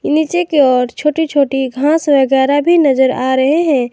नीचे की ओर छोटी छोटी घास वगैरा भी नजर आ रहे हैं।